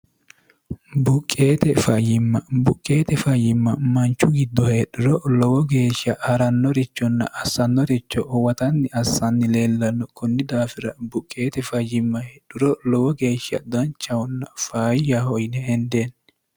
buqqeete fayyimma buqqeete fayyimma manchu giddo heedhiro lowo geeshsha ha'rannorichonna assannoricho uwatanni assanni leellanno kunni daafira buqqeete fayyimmahedhuro lowo geeshsha danchahunna fayyaho yine hendeenni